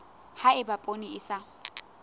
ha eba poone e sa